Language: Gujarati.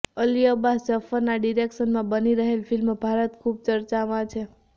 અલી અબ્બાસ જફરના ડીરેક્શનમાં બની રહેલ ફિલ્મ ભારત ખુબ ચર્ચામાં છે